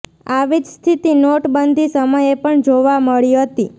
આવી જ સ્થિતિ નોટબંધી સમયે પણ જોવા મળી હતી